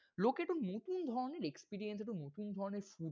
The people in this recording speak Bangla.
লোকে তো নতুন ধরনের experience একটা নতুন ধরনের food